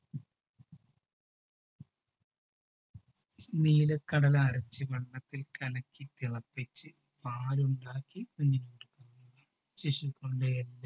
നിലക്കടല അരച്ച് വെള്ളത്തിൽ കലക്കി തിളപ്പിച്ചു പാലുണ്ടാക്കി